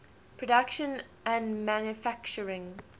production and manufacturing